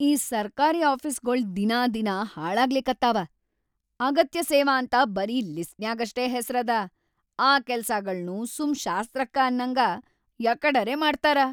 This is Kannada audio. ಈ ಸರ್ಕಾರಿ ಆಫೀಸ್‌ಗೊಳ್‌ ದಿನಾದಿನಾ ಹಾಳಾಗ್ಲಿಕತ್ತಾವ, ಅಗತ್ಯ ಸೇವಾ ಅಂತ ಬರೀ ಲಿಸ್ಟ್‌ನ್ಯಾಗಷ್ಟೇ ಹೆಸ್ರದ, ಆ ಕೆಲ್ಸಾಗಳ್ನೂ ಸು‌ಮ್‌ ಶಾಸ್ತ್ರಕ್ಕ ಅನ್ನಂಗ್ ಯಕಡರೆ ಮಾಡ್ತಾರ.